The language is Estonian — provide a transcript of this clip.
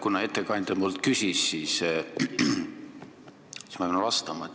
Kuna ettekandja mult küsis, siis ma pean vastama.